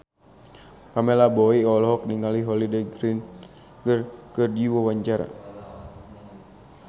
Pamela Bowie olohok ningali Holliday Grainger keur diwawancara